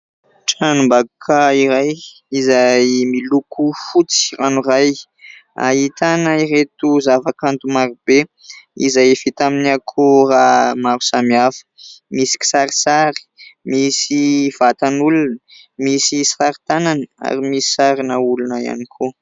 Tranom-bakoka iray izay miloko fotsy ranoray. Ahitana ireto zavakanto marobe izay vita amin'ny akora maro samihafa. Misy kisarisary, misy vatan'olona, misy sary tanana ary misy sarina olona ihany koa.